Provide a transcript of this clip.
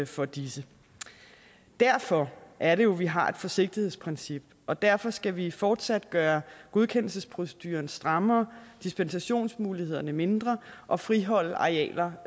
for disse derfor er det jo at vi har et forsigtighedsprincip og derfor skal vi fortsat gøre godkendelsesproceduren strammere dispensationsmulighederne mindre og friholde arealer